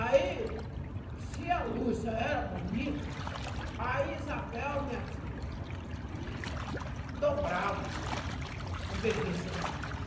Aí, se a Lúcia era bonita, a Isabel, minha filha, dobrava a beleza da menina.